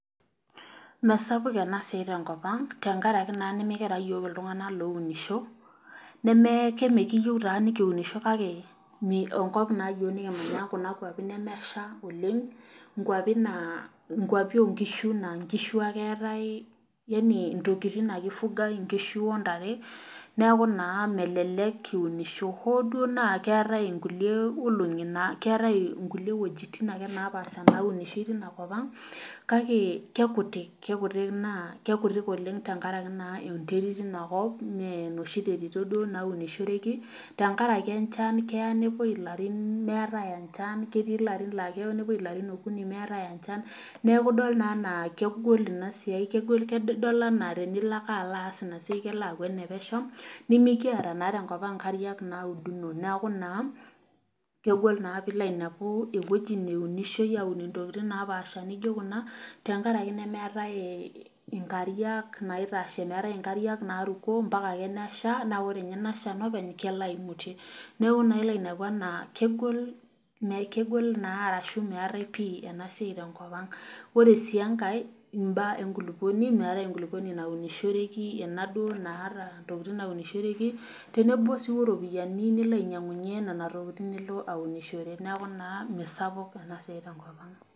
Meesapuk ena siai tenkop ang tenkaraki naa nimikiata yiok iltunganak loounisho ,kake mee emkikiyieu taa nikiunisho kake Kuna kwapi naa nemesha oleng ,nkwapi oonkishu naa nkishu ake eetae ,ntokiting ake eifugae nkishu intare neeku naa melelek kiunisho ,hoo duo naa keetae inkulie wejitin ake naapasha naunishoi tinakopang ,kake keikutik tenkaraki naa enterit inakop mee noshi duo terito naunishoreki tenkaraki enchan keya nepwoi ilarin meetae enchan ,ketii larin laa keya nepwoi ilarin okuni meetae enchan ,neeku naa idol enaa kegol ina siai tenilo aas kelo aaku enepesho, nimikiata naa tenkopang inkariak nauduno neeku naa kegol tenilo ainepu wejitin neunishioi aun ntokiting naapasha naijo kuna tenakaraki meetae nkariak naitashe ,nkariak nauno mpaka ake nesha naa ore ninye inashan openy kelo aimutie. neeku ilo naa ainepu aa kegol orashu meetae ena siai tenkopang ,ore sii enkae imbaa enkulupuoni meetae enkulupuoni naata ntokiting naunishoreki tenebo sii oropiani nilo ainyangunye nena tokiting nilo aunishore neeku naa meisapuk ena siai tenkop ang.